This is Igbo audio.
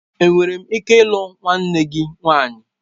Enwere m ike ịlụ nwanne m nwanyị?